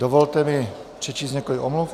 Dovolte mi přečíst několik omluv.